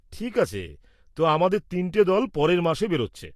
-ঠিক আছে। তো, আমাদের ৩টে দল পরের মাসে বেরোচ্ছে।